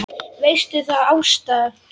Veistu það, Ásta!